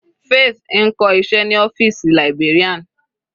Faith ń kọ́ iṣẹ́ ní ọ́fìsì librarian.